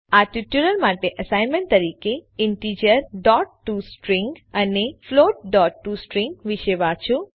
આ ટ્યુટોરીયલ માટે એસાઈનમેન્ટ તરીકેIntegertoString અને floatટોસ્ટ્રીંગ વિશે વાંચો